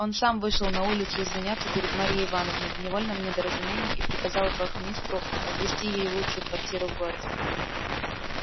он сам вышел на улицу извиняться перед марьей ивановной в невольном недоразумении и приказал вахмистру отвести ей лучшую квартиру в городе